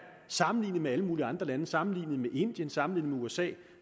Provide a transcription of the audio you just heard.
sammenlignet med alle mulige andre lande sammenlignet med indien sammenlignet med usa